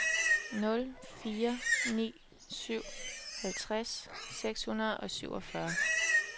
nul fire ni syv halvtreds seks hundrede og syvogfyrre